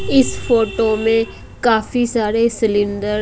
इस फोटो में काफी सारे सिलेंडर --